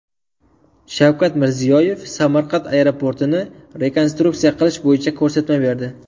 Shavkat Mirziyoyev Samarqand aeroportini rekonstruksiya qilish bo‘yicha ko‘rsatma berdi.